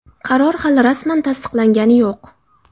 Qaror hali rasman tasdiqlangani yo‘q.